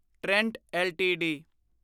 Trent LTD